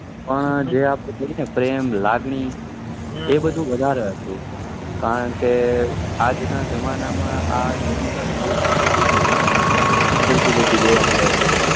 હા જે આપડે જોઈએ પ્રેમ લાગણી એ બધું વધારે હતું કરણકે આજના જમાના આ technical યુગ માં યુવા પેઢી ઉભરતી જોવા મળે છ